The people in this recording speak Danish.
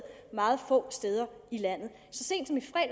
meget få steder i landet